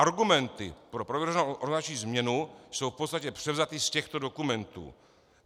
Argumenty pro prověřovanou organizační změnu jsou v podstatě převzaty z těchto dokumentů.